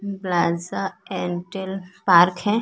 Plaza अंटील park हैं।